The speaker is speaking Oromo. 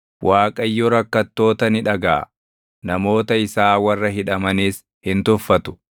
Waaqayyo rakkattoota ni dhagaʼa; namoota isaa warra hidhamanis hin tuffatu.